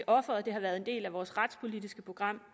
offeret det har været en del af vores retspolitiske program